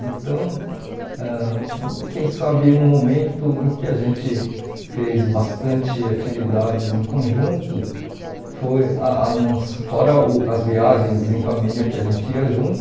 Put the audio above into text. Então, ãh quem sabe um momento em que a gente fez bastante atividades em conjunto, foi a a nossa fora uh as viagens em família que a gente ia junto,